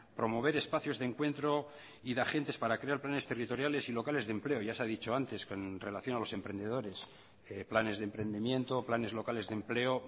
promover espacios de encuentro y de agentes para crear planes territoriales y locales de empleo ya se ha dicho antes con relación a los emprendedores planes de emprendimiento planes locales de empleo